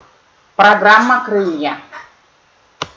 программа крылья